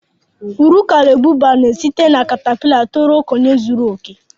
Bọtáfláyị n'esite na kàtápịla tó ruo okenye zuru oke